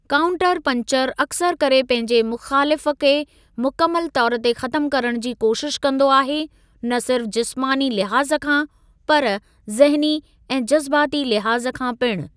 Counter punch अक्सर करे पंहिंजे मुख़ालिफ़ु खे मुकमिलु तौर ते ख़तमु करणु जी कोशिश कंदो आहे, न सिर्फ़ जिस्मानी लिहाज़ खां, पर ज़हनी ऐं जज़्बाती लिहाज़ खां पिणु।